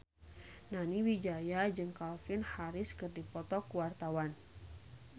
Nani Wijaya jeung Calvin Harris keur dipoto ku wartawan